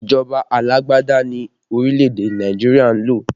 Ìjọba alágbádá ni orílẹ̀ èdè Nàìjíríà ń lò